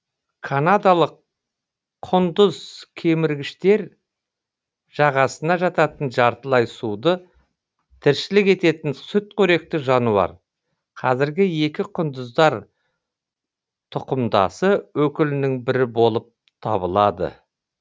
канадалық құндыз кеміргіштер жағасына жататын жартылай суды тіршілік ететін сүтқоректі жануар қазіргі екі құндыздар тұқымдасы өкілінің бірі болып табылады